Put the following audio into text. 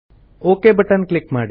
okay button click ಮಾಡಿ